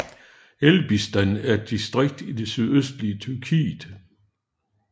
Elbistan er et distrikt i det sydøstlige Tyrkiet